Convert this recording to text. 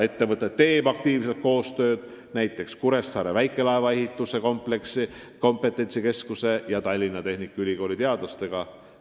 Ettevõte teeb aktiivselt koostööd näiteks Kuressaare väikelaevaehituse kompetentsikeskuse ja Tallinna Tehnikaülikooli teadlastega.